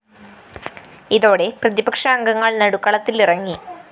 ഇതോടെ പ്രതിപക്ഷ അംഗങ്ങള്‍ നടുത്തളത്തിലിറങ്ങി